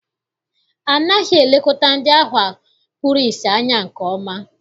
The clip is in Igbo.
Anaghị elekọta ndị ahụ kpuru ìsì anya nke ọma.